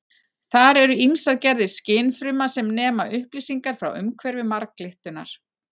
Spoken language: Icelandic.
þar eru ýmsar gerðir skynfruma sem nema upplýsingar frá umhverfi marglyttunnar